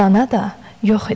Dana da yox idi.